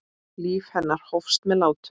Líf hennar hófst með látum.